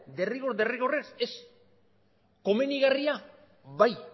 derrigor derrigorrez ez komenigarria bai